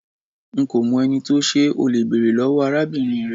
Nko mo eni to se, o le bere lowo arabinrin re